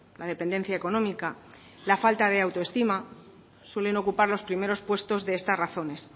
la dependencia económica y la falta de autoestima suelen ocupar los primeros puestos de estas razones